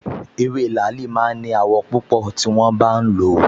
Ewé làálì máa ń ní àwọ̀ pípọ́n tí wọ́n bá ń lò ó